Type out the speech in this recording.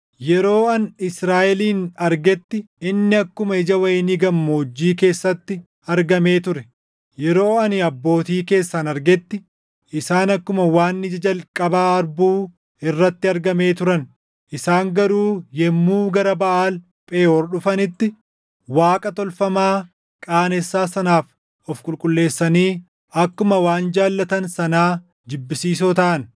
“Yeroo ani Israaʼelin argetti, inni akkuma ija wayinii gammoojjii keessatti argamee ture; yeroo ani abbootii keessan argetti, isaan akkuma waan ija jalqabaa harbuu irratti argamee turan. Isaan garuu yommuu gara Baʼaal Pheʼoor dhufanitti, waaqa tolfamaa qaanessaa sanaaf of qulqulleessanii akkuma waan jaallatan sanaa jibbisiisoo taʼan.